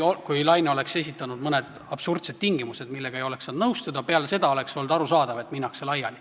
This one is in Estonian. Kui Laine oleks esitanud absurdsed tingimused, millega ei oleks saanud nõustuda, siis oleks olnud arusaadav, et minnakse laiali.